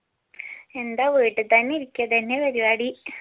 എന്താ വീട്ടി തന്നെ ഇരിക്ക ഇതെന്നെ പരിപാടി